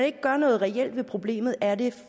ikke gør noget reelt ved problemet er det